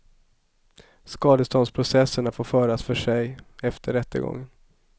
Skadeståndsprocesserna får föras för sig, efter rättegången.